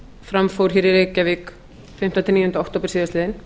fram fór hér í reykjavík fimmta til níundu október síðastliðinn